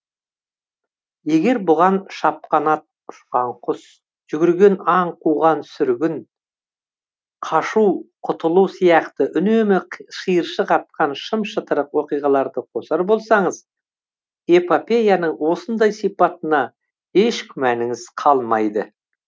егер бұған шапқан ат ұшқан құс жүгірген аң қуған сүргін қашу құтылу сияқты үнемі шиыршық атқан шым шытырық оқиғаларды қосар болсаңыз эпопеяның осындай сипатына еш күмәніңіз қалмайды